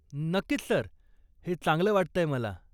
नक्कीच सर, हे चांगलं वाटतंय मला.